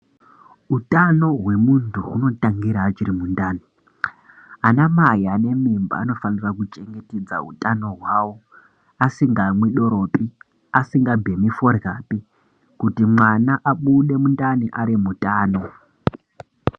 Hutano hwemuntu hunotangira huri mundani anamai anemimba anofanira kuchengetedza hutano hwavo asingamwi doro pi asingabhemi forya pi kuti mwana abude mundani ari mutano.